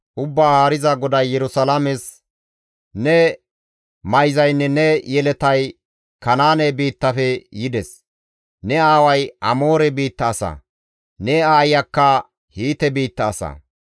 Ubbaa Haariza GODAY Yerusalaames, «Ne mayzaynne ne yeletay Kanaane biittafe yides; ne aaway Amoore biitta asa; ne aayiyakka Hiite biitta asa.